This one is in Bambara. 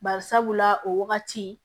Bari sabula o wagati